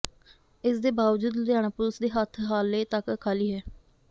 ਇਸਦੇ ਬਾਵਜੂਦ ਲੁਧਿਆਣਾ ਪੁਲੀਸ ਦੇ ਹੱਥ ਹਾਲੇ ਤੱਕ ਖਾਲੀ ਹੈ